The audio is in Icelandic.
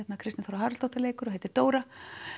Kristín Þóra Haraldsdóttir leikur og heitir Dóra